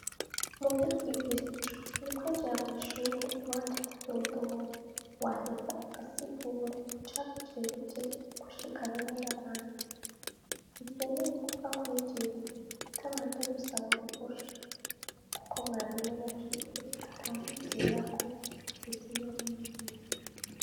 Umu vyo twigishijwa ni ukwinjira mw'ishuri iwanje kudodora waheza agasigura icagucereje kushika rimwe n'abandi ikyemeye ugupfa kwinjira tutabanje gusaba uruhusha, kuko mwarimu yashitse atawnjirako kigitsi vyo mwemi rime.